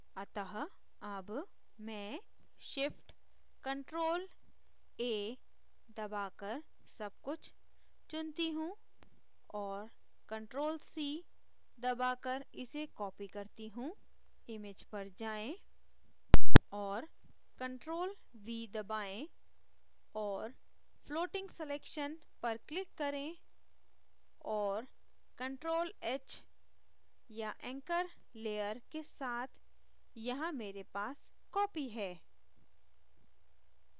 अतः अब मैं shift + ctrl + a दबाकर सबकुछ चुनती हूँ और ctrl + c दबाकर इसे copy करती हूँ image पर जाएँ और ctrl + v दबाएं और floating selection पर click करें और ctrl + h या anchor layer के साथ यहाँ मेरे पास copy है